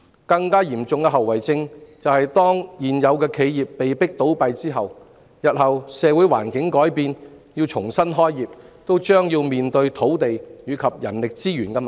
更嚴重的後遺症是，如現有企業被迫倒閉，日後當社會環境改變而它們又想重新開業，也將面對土地及人力資源問題。